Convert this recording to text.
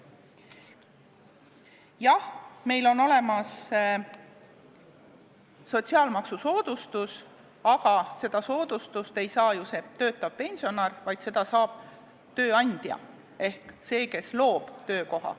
Jah, meil on olemas sotsiaalmaksusoodustus, aga seda soodustust ei saa ju töötav pensionär, vaid seda saab tööandja ehk see, kes loob töökoha.